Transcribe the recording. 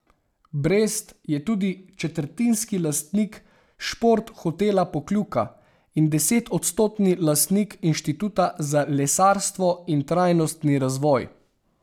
Brest je tudi četrtinski lastnik Šport hotela Pokljuka in desetodstotni lastnik Inštituta za lesarstvo in trajnostni razvoj.